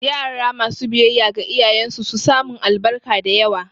Yara masu biyayya ga iyayen su su samun albarka da yawa